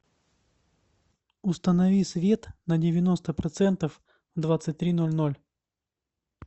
установи свет на девяносто процентов в двадцать три ноль ноль